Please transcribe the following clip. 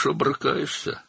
yaxşı mübarizə aparırsan.